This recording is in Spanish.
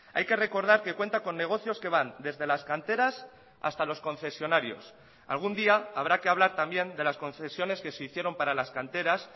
hay que recordar que cuenta con negocios que van desde las canteras hasta los concesionarios algún día habrá que hablar también de las concesiones que se hicieron para las canteras